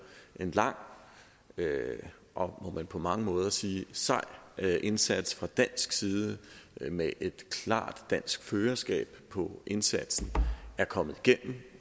en lang og må man på mange måder sige sej indsats fra dansk side med et klart dansk førerskab på indsatsen er kommet igennem